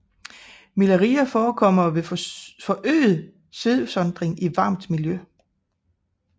Miliaria forekommer ved forøget svedudsondring i varmt miljø